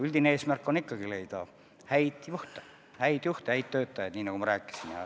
Üldine eesmärk on leida häid juhte, häid töötajaid, nii nagu ma rääkisin.